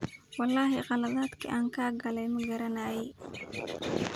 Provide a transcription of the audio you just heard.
Wlxi qaladhki an kakale magaranayi.